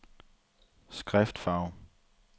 skriftfarve